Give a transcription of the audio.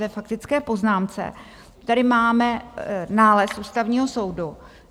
Ve faktické poznámce tady máme nález Ústavního soudu .